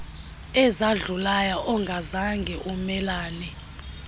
ezadlulayo ongazange umelane